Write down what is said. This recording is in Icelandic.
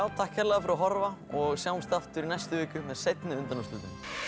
takk kærlega fyrir að horfa og sjáumst aftur í næstu viku með seinni undanúrslitin